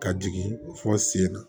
Ka jigin fɔ sen na